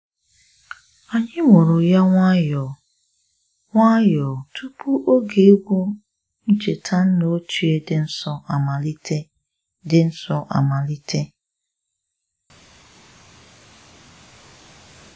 Anyi muru ya nwayọọ nwayọọ tupu oge egwu ncheta nna ochie dị nsọ amalite dị nsọ amalite